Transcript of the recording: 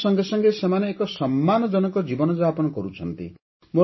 ରୋଜଗାର ସଙ୍ଗେ ସଙ୍ଗେ ସେମାନେ ଏକ ସମ୍ମାନଜନକ ଜୀବନଯାପନ କରୁଛନ୍ତି